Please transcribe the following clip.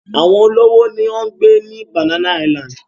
Àwọn olówó ni ó ń gbé ní Banana Island.